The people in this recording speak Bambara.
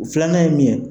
Filanan ye min ye